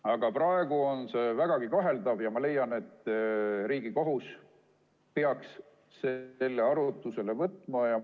Aga praegu on see vägagi kaheldav ja ma leian, et Riigikohus peaks selle arutusele võtma.